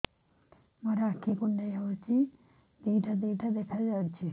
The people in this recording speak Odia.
ମୋର ଆଖି କୁଣ୍ଡାଇ ହଉଛି ଦିଇଟା ଦିଇଟା ଦେଖା ଯାଉଛି